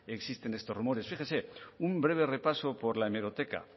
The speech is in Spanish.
existen estos rumores fíjese un breve repaso por la hemeroteca